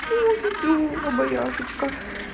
ты можешь убоя штучках